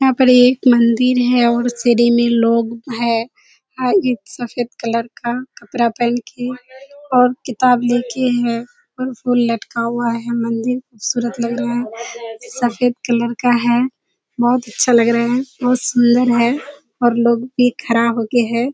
यहाँ पर एक म‍न्‍दिर है और सीढ़ी में लोग है और ये सफेद कलर का कपड़ा पहन के और किताब ले के हैं और फुल लटका हुआ है। म‍न्‍दिर खूबसूरत लग रहा है। सफेद कलर का है। बहुत अच्‍छा लग रहा है बहुत सुन्‍दर है और लोग भी खड़ा होके है।